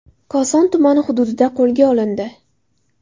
Koson tumani hududida qo‘lga olindi.